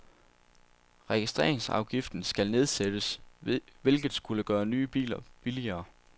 Registreringsafgiften skal nedsættes, hvilket skulle gøre nye biler billigere.